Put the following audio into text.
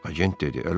Agent dedi.